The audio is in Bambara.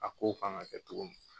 A ko kan ka kɛ cogo min.